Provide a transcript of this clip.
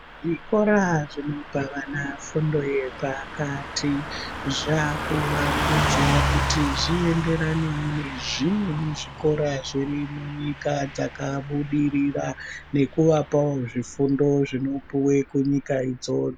Zvikora zvinopa vana fundo yepakati zvakuwandudzwa kuti zvienderanewo nezvimwe zvikora zvirimunyika dzakabudirira nekuvapawo zvifundo zvinopuwe kunyika idzo.